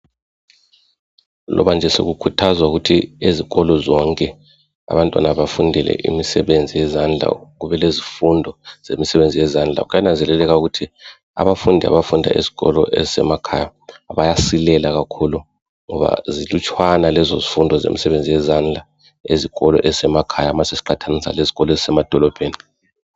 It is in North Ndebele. loba nje sekukhuthazwa ukuthi ezikolo zonke abantwana bafundele imisebenzi yezandla kube lezifundo zemisebenzi yezandla kuyananzeleleka ukuthi abafundi abafunda ezikolo ezisemakhaya bayasilela kakhulu ngoba zilutshwana lezo zifundo zomsebenzi wezandla ezikolo ezisemakhaya ma sesiqathanisa lezikolo ezisemadolobheni